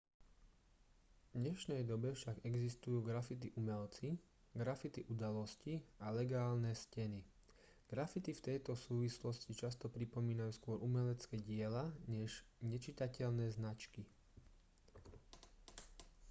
v dnešnej dobe však existujú graffiti umelci graffiti udalosti a legálne steny graffiti v tejto súvislosti často pripomínajú skôr umelecké diela než nečitateľné značky